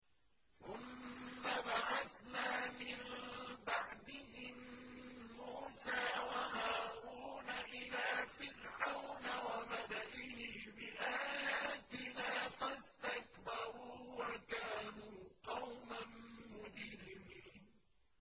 ثُمَّ بَعَثْنَا مِن بَعْدِهِم مُّوسَىٰ وَهَارُونَ إِلَىٰ فِرْعَوْنَ وَمَلَئِهِ بِآيَاتِنَا فَاسْتَكْبَرُوا وَكَانُوا قَوْمًا مُّجْرِمِينَ